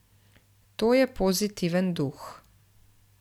To je pozitiven duh.